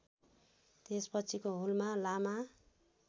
त्यसपछिको हुलमा लामा